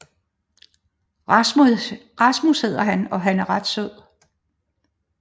Rasmus hedder han og er ret sød